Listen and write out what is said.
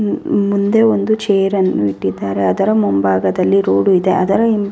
ಮುಂದೆ ಒಂದು ಚೇರ್ ಅನ್ನು ಇಟ್ಟಿದ್ದಾರೆ ಅದರ ಮುಂಭಾಗದಲ್ಲಿ ರೋಡು ಇದೆ ಅದ್ರ ಹಿಂದೆ --